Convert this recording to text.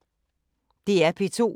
DR P2